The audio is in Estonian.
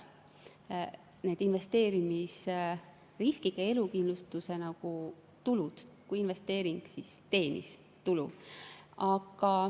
siis investeerimisriskiga elukindlustuse tuludest, kui investeering teenis tulu.